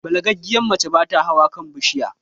Balagaggiyar mace bata hawa kan bishiya